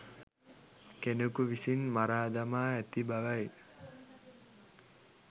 කෙනෙකු විසින් මරාදමා ඇති බවයි.